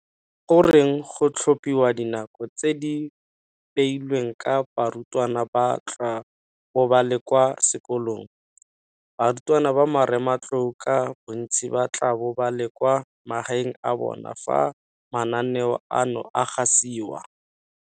Goreng go tlhophilwe dinako tse di beilweng ka barutwana ba tla bo ba le kwa sekolong? Barutwana ba marematlou ka bontsi ba tla bo ba le kwa magaeng a bona fa mananeo ano a gasiwa.